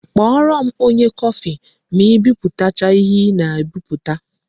Kpọrọ m onye kọfị ma I biputacha ihe ị na-ebiputa